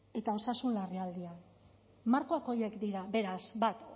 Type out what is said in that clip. eta osasun larrialdian markoak horiek dira beraz bat